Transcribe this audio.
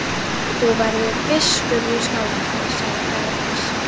Þú verður biskup í Skálholti, sagði faðir hans.